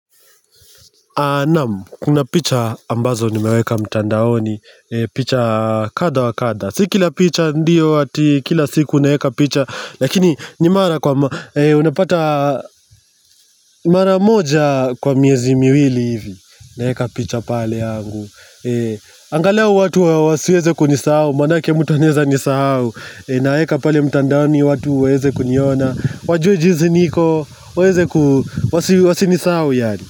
Naamu, kuna picha ambazo nimeweka mtandaoni, picha kadha wa kadha. Si kila picha ndio ati, kila siku naeka picha, lakini ni mara kwa, unapata mara moja kwa miezi miwili hivi, naeka picha pale yangu. Angalua watu wa wasiweze kunisahau, manake mutu anaeza nisahau, naeka pale mtandaoni watu waweze kuniona, wajue jinsi niko, waweze ku wasinisahau yaani.